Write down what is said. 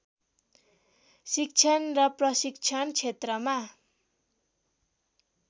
शिक्षण र प्रशिक्षण क्षेत्रमा